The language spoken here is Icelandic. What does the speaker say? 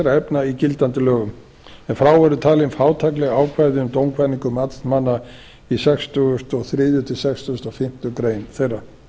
efna í gildandi lögum ef frá eru talin ef frá eru talin fátækleg ákvæði um dómkvaðningu matsmanna í sextugasta og þriðja til sextugustu og fimmtu grein þeirra